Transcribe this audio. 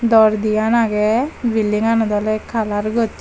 door diyan aagay building ganot olay colour gosay.